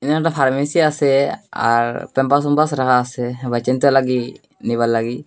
এখানে একটা ফার্মেসি আছে আর প্যামপার্স উম্পাস রাখা আছে নিবার লাগি।